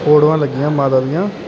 ਫੋਟੋਆਂ ਲੱਗੀਆਂ ਮਾਲਾ ਦੀਆਂ --